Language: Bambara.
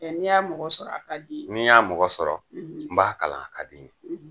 mɛ ni y'a mɔgɔ sɔrɔ a ka d'i ye ni y'a mɔgɔ sɔrɔ n b'a kalan a ka di n ye